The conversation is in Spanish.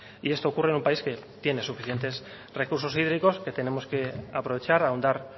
y esto ocurre en un país que tiene suficientes recursos hídricos que tenemos que aprovechar ahondar